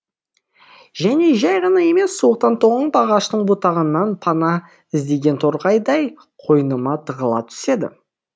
және жәй ғана емес суықтан тоңып ағаштың бұтағынан пана іздеген торғайдай қойныма тығыла түседі